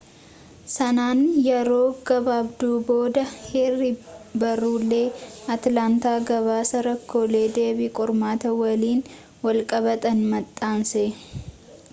sanaan yeroo gabaabduu booda, heerri-barrulee atilaantaa gabaasa rakkoolee deebii qormaataa waliin walqabatan maxxanse